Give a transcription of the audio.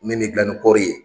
Min bɛ gilan ni kɔɔri ye